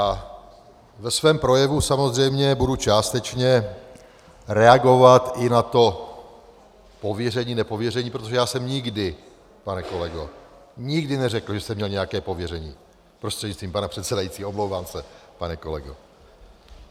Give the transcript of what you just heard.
A ve svém projevu samozřejmě budu částečně reagovat i na to pověření-nepověření, protože já jsem nikdy, pane kolego, nikdy neřekl, že jsem měl nějaké pověření - prostřednictvím pana předsedajícího, omlouvám se, pane kolego.